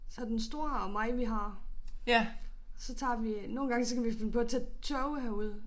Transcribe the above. Så den store og mig vi har. Så tager vi nogle gange så kan vi finde på at tage toget herud